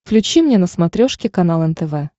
включи мне на смотрешке канал нтв